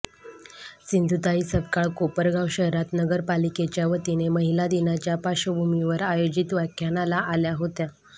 सिधुताई सपकाळ कोपरगाव शहरात नगरपालिकेच्या वतीने महिला दिनाच्या पार्श्वभूमीवर आयोजित व्याख्यानाला आल्या होत्या